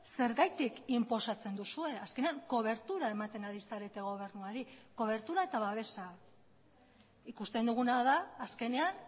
zergatik inposatzen duzue azkenean kobertura ematen ari zarete gobernuari kobertura eta babesa ikusten duguna da azkenean